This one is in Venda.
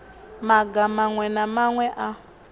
maga maṅwe na maṅwe a